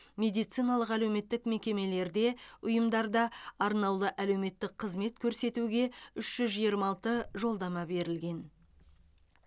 медициналық әлеуметтік мекемелерде ұйымдарда арнаулы әлеуметтік қызмет көрсетуге үш жүз жиырма алты жолдама берілген